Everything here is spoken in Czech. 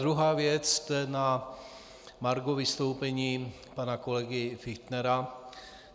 Druhá věc je na margo vystoupení pana kolegy Fichtnera.